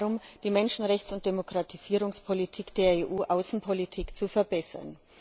Es geht darum, die Menschenrechts und Demokratisierungspolitik der EU Außenpolitik zu verbessern.